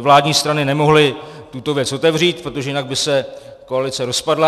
vládní strany nemohli tuto věc otevřít, protože jinak by se koalice rozpadla.